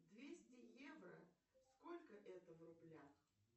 двести евро сколько это в рублях